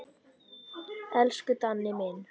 Elsku Danni minn.